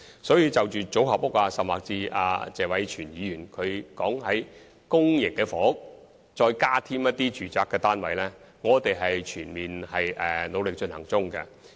所以，就組合屋甚或謝偉銓議員提出在公營房屋額外加建住宅單位的建議，我們正努力考慮。